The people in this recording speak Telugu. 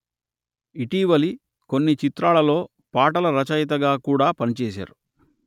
ఇటీవలి కొన్ని చిత్రాలలో పాటల రచయితగా కూడా పని చేసారు